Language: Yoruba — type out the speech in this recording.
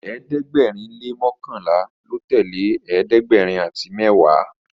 ẹ̀ẹ́dẹ̀gbẹ̀rin le mọkanla ló tẹlẹ ẹ̀ẹ́dẹ̀gbẹ̀rin àti mẹwa